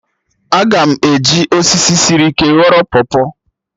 Aga m eji osisi sịrị ike ghọrọ pọpọ